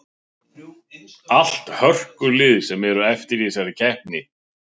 Allt hörkulið sem eru eftir í þessari keppni.